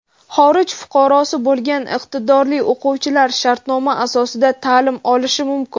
xorij fuqarosi bo‘lgan iqtidorli o‘quvchilar shartnoma asosida taʼlim olishi mumkin;.